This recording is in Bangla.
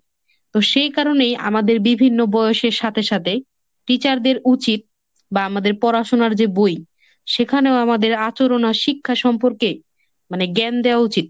তো সেই কারণেই আমাদের বিভিন্ন বয়সের সাথে সাথে teacher দের উচিত বা আমাদের পড়াশোনার যে বই সেখানেও আমাদের আচরণ আর শিক্ষা সম্পর্কে মানে জ্ঞান দেওয়া উচিত।